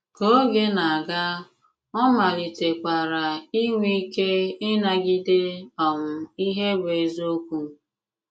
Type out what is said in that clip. Ka ògè na-aga, ọ̀ malìtèkwara ìnwè ìkè ịnàgìdé um ihe bụ́ èzìokwu.